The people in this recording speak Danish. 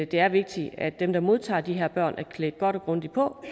det er vigtigt at dem der modtager de her børn er klædt godt og grundigt på